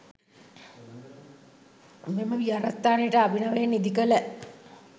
මෙම විහාරස්ථානයට අභිනවයෙන් ඉදිකළ